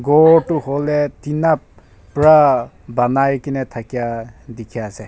gor toh huile tina pra banai kena thakia dikhi ase.